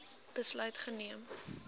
besluit geneem